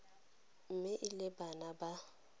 mme e le bana ba